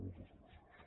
moltes gràcies